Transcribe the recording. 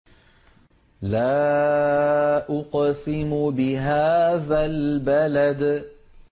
لَا أُقْسِمُ بِهَٰذَا الْبَلَدِ